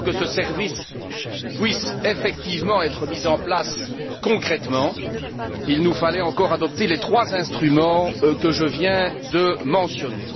Mais pour que ce service puisse effectivement être mis en place concrètement, il nous fallait encore adopter les trois instruments que je viens de mentionner.